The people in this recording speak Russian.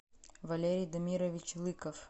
валерий дамирович лыков